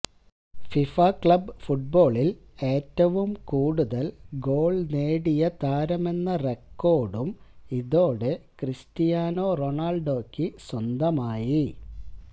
FIFA club ഫുട്ബോളിൽ ഏറ്റവും കൂടുതൽ ഗോൾ നേടിയെ താരമെന്ന റെക്കോർഡും ഇതോടെ ക്രിസ്റ്റിയാനോ റൊണാൾഡോയ്ക്ക് സ്വന്തമായി